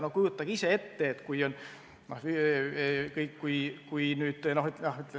No ja kujutage nüüd ise ette.